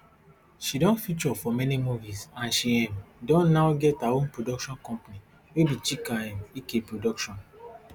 she don feature for many movies and she um don now get her own production company wey be chika um ike production